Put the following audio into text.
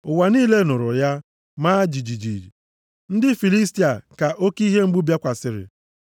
Ụwa niile nụrụ ya, maa jijiji. Ndị Filistia ka oke ihe mgbu bịakwasịrị.